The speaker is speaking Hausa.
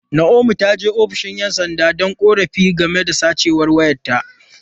Naomi ta je ofishin ’yan sanda don yin korafi game da sace wayarta.